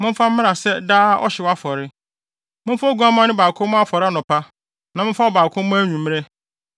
Momfa oguamma no baako mmɔ afɔre anɔpa na momfa ɔbaako mmɔ anwummere,